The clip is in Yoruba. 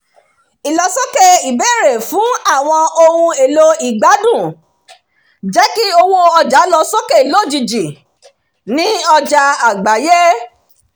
ìlọsókè ìbéèrè-fún àwọn ohun-èlò ìgbádùn jẹ́ kí owó ọjà lọ sókè lójijì ní ọjà àgbáyé